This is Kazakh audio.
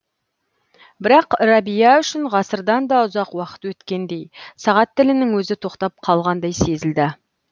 бірақ рәбия үшін ғасырдан да ұзақ уақыт өткендей сағат тілінің өзі тоқтап қалғандай сезілді